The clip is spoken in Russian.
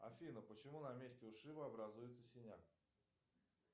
афина почему на месте ушиба образуется синяк